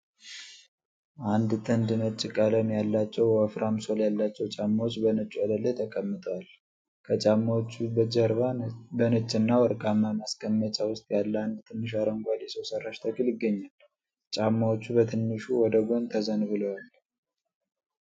አንድ ጥንድ ነጭ ቀለም ያላቸው ወፍራም ሶል ያላቸው ጫማዎች በነጭ ወለል ላይ ተቀምጠዋል። ከጫማዎቹ ጀርባ በነጭና ወርቃማ ማስቀመጫ ውስጥ ያለ አንድ ትንሽ አረንጓዴ ሰው ሰራሽ ተክል ይገኛል። ጫማዎቹ በትንሹ ወደ ጎን ተዘንብለዋል።